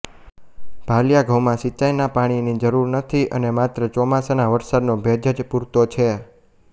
ભાલીયા ઘઉંમાં સિંચાઇના પાણીની જરૂર નથી અને માત્ર ચોમાસાના વરસાદનો ભેજ જ પૂરતો છે